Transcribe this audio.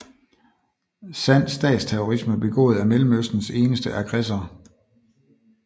Sand statsterrorisme begået af Mellemøstens eneste aggressor